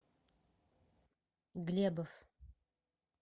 глебов